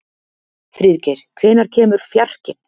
Friðgeir, hvenær kemur fjarkinn?